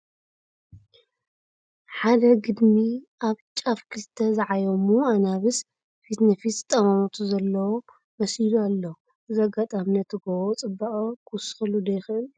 ሓደ ግድሚ ኣብ ጫፍ ክልተ ዝዓየሙ ኣናብስ ፊት ንፊት ዝጠማመቱ ዘለዎ መሲሉ ኣሎ፡፡ እዚ ኣጋጣሚ ነቲ ጐቦ ፅባቐ ክውስኸሉ ዶ ይኽእል?